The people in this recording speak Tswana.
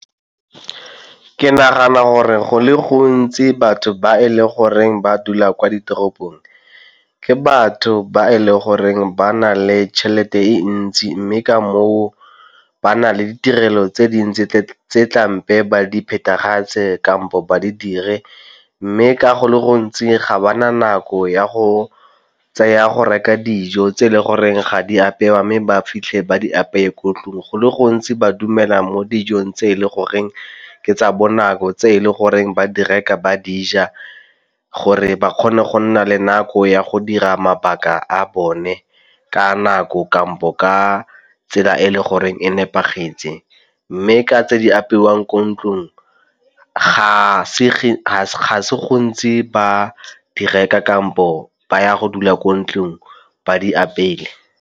Ke nagana gore go le gontsi batho ba e le goreng ba dula kwa ditoropong, ke batho ba e le goreng ba na le tšhelete e ntsi mme ka moo ka ba na le ditirelo tse dintsi tse ba di phethagatse kampo ba di dire. Mme ka go le gontsi ga ba na nako ya go tseya go reka dijo tse e le goreng ga di apewa mme ba fitlhe ba di apeye ko ntlung. Go le gontsi ba dumela mo dijong tse e le goreng ke tsa bonako, tse e le goreng ba di reka ba dija gore ba kgone go nna le nako ya go dira mabaka a bone ka nako kampo ka tsela e le goreng e nepagetse. Mme tse di apewang ko ntlong ga se gantsi ba di reka kampo ba ya go dula ko ntlong ba di apeye.